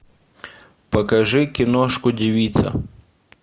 покажи киношку девица